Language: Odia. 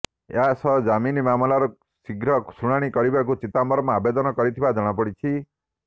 ଏହାସହ ଜାମିନ ମାମଲାର ଶୀଘ୍ର ଶୁଣାଣୀ କରିବାକୁ ଚିଦାମ୍ବରମ୍ ଆବେଦନ କରିଥିବା ଜଣାପଡିଛି